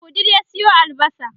a wudil ya Sayo albasa